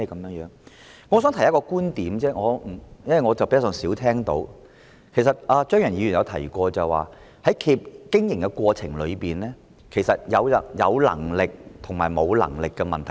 我只想提出一個觀點，是我比較少聽到的，其實張宇人議員也曾提及，就是企業在經營過程中是否有能力的問題。